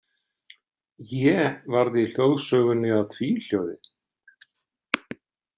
É varð í hljóðsögunni að tvíhljóði.